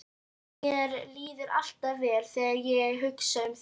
Mér líður alltaf vel þegar ég hugsa um þig.